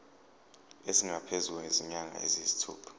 esingaphezu kwezinyanga eziyisithupha